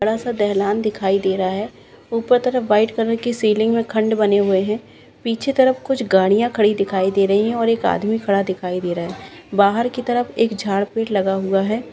बड़ा सा दहलन दिखाई दे रहा है ऊपर तरफ वाइट कलर की सीलिंग और खंड बने हुए है पीछे तरफ कुछ गाड़ियां खड़ी दिखाई दे रही है और एक आदमी खड़ा दिखाई दे रहा है बाहर की तरफ एक झाड़पीठ लगा हुआ है।